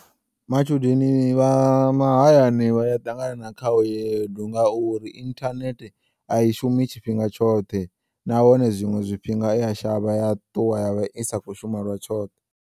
Matshudeni vha mahayani vha ya ṱangana na khaedu ngauri inthanethe ayi shumi tshifhinga tshoṱhe nahone zwiṅwe zwifhinga i ya shavha ya ṱuwa yavha i sakho shuma lwa tshoṱhe.